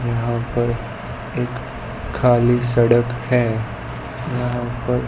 यहां पर एक खाली सड़क है यहां पर--